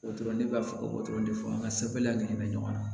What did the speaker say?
O dɔrɔn ne b'a fɔ ko dɔrɔn de fɔ an ka sɛbɛn ɲɔgɔnna